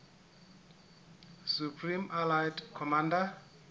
supreme allied commander